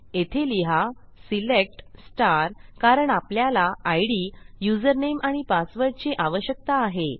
येथे लिहा select quot कारण आपल्याला इद युजरनेम आणि पासवर्डची आवश्यकता आहे